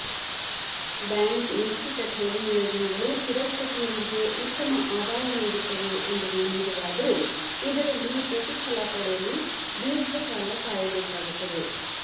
bank ನಿಶ್ಚಿತ ಠೇವಣಿ ಯೋಜನೆಗಳು ಸುರಕ್ಷತೆಯೊಂದಿಗೆ ಉತ್ತಮ ಆದಾಯ ನೀಡುತ್ತವೆ ಎಂಬುದು ನಿಜವಾದರೂ ಇದರಲ್ಲಿ ಪ್ರತಿಫಲ ಪಡೆಯಲು ದೀರ್ಘಕಾಲ ಕಾಯಬೇಕಾಗುತ್ತದೆ